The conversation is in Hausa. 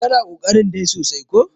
kana ƙoƙarin dai sosai ko!